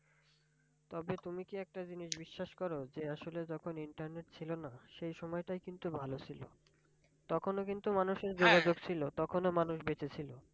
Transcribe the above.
তবে তুমি কি একটা জিনিস বিশ্বাস করো যে আসলে যখন internet ছিল না সেই সময়টাই কিন্তু ভালো ছিল তখনও কিন্তু মানুষের ছিল তখন ও মানুষ বেঁচে ছিল।